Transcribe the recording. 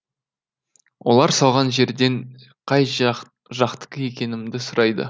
олар салған жерден қай жақтікі екенімді сұрайды